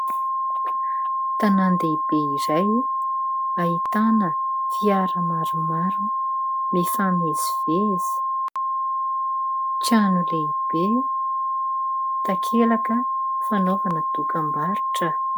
Tanàn-dehibe iray ahitana fiara maromaro mifamezivezy, trano lehibe, takelaka fanaovana dokambarotra.